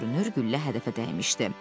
Görünür güllə hədəfə dəymişdi.